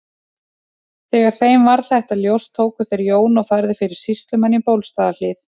Þegar þeim varð þetta ljóst tóku þeir Jón og færðu fyrir sýslumann í Bólstaðarhlíð.